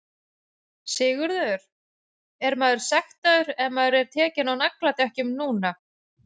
Sigurður: Er maður sektaður ef maður er tekinn á nagladekkjum núna?